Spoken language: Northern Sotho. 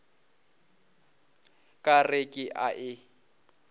ka re ke a e